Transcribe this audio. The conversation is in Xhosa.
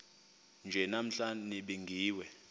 nje namhla nibingiwe